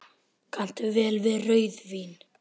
Kanntu vel við rauðvín?